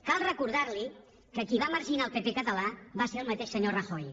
cal recordar li que qui va marginar el pp català va ser el mateix senyor rajoy